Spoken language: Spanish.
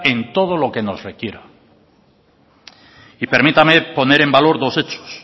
en todo lo que nos requiera y permítame poner en valor dos hechos